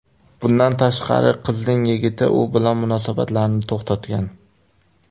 Bundan tashqari, qizning yigiti u bilan munosabatlarini to‘xtatgan.